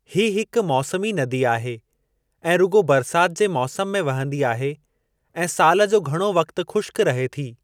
हीअ हिक मौसमी नदी आहे ऐं रुॻो बरसात जे मौसम में वहंदी आहे ऐं सालु जो घणो वक्तु ख़ुश्क रहे थी।